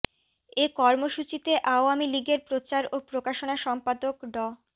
এ কর্মসূচিতে আওয়ামী লীগের প্রচার ও প্রকাশনা সম্পাদক ড